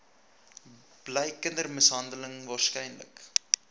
bly kindermishandeling waarskynlik